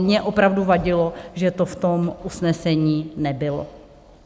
Mně opravdu vadilo, že to v tom usnesení nebylo.